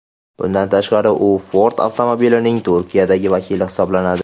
Bundan tashqari u Ford avtomobilining Turkiyadagi vakili hisoblanadi.